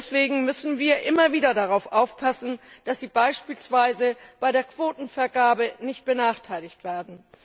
Deswegen müssen wir immer wieder darauf aufpassen, dass sie beispielsweise bei der Quotenvergabe nicht benachteiligt werden.